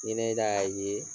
Ni ne k'a ye